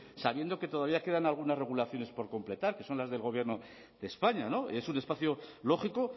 sabiendo que todavía quedan algunas regulaciones por completar que son las del gobierno de españa es un espacio lógico